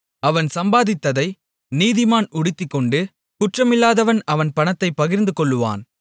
அவன் சம்பாதித்ததை நீதிமான் உடுத்திக்கொண்டு குற்றமில்லாதவன் அவன் பணத்தைப் பகிர்ந்துகொள்ளுவான்